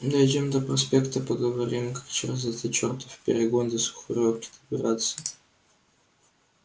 дойдём до проспекта поговорим как через этот чёртов перегон до сухарёвки добраться